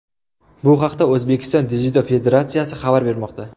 Bu haqda O‘zbekiston Dzyudo federatsiyasi xabar bermoqda .